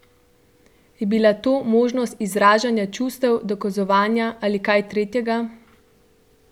Je bila to možnost izražanja čustev, dokazovanja ali kaj tretjega?